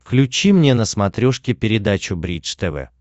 включи мне на смотрешке передачу бридж тв